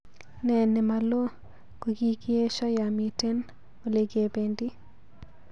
Ne nemalo kogigiesho yo miten olegebendi